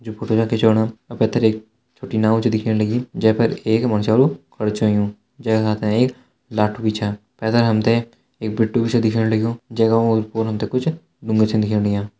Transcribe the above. जो फोटो यख खिचवाणा वैका पैथर एक छोटी नाव च दिख्येण लगीं जैफर एक मनश्यलु खड़ु च हुंयु जैका हाथा एक लाठु भी छा पतनी हमथे एक पिट्ठू भी च दिख्येण लग्युं जेका ओर-पोर हमथे कुछ ढुंगा छन दिखेण लग्यां।